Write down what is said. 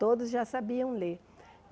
Todos já sabiam ler.